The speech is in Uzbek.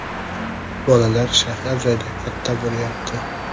Bolalar shahar joyda katta bo‘lyapti.